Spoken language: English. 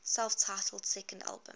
self titled second album